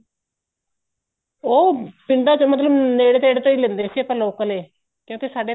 ਉਹ ਪਿੰਡਾਂ ਚੋ ਮਤਲਬ ਨੇੜੇ ਥੇੜੇ ਤੋ ਹੀ ਲੈਂਦੇ ਸੀ ਆਪਾਂ local ਏ ਕਿਉਂਕਿ ਸਾਡੇ